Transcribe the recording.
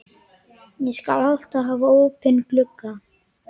Ég skal alltaf hafa opinn gluggann.